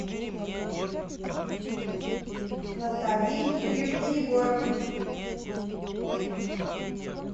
наталье юрьевне егоровой